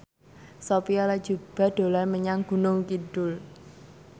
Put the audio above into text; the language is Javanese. Sophia Latjuba dolan menyang Gunung Kidul